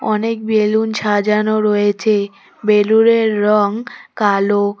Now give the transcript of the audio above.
অনেক বেলুন সাজানো রয়েছে বেলুনের রং কালো।